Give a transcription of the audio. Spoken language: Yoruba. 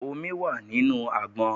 Omi wà nínú àgbọn.